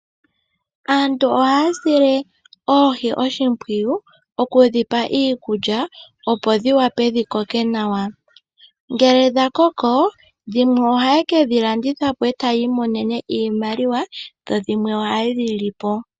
Aantu ohaya sile oohi oshimpwiyu, okudhipa iikulya, opo dhiwape dhikoke nawa. Ngele dhakoko, dhimwe ohayekedhi landithapo, e taayi monene iimaliwa, nodhimwe ohaye dhilipo.